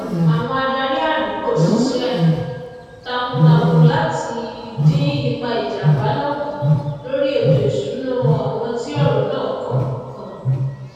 àwon adarí àdùgbò sisé takun takun láti dín ipa ìjàmbá náà kù lórí ètò ìsúná àwon tí òrò náà kàn kàn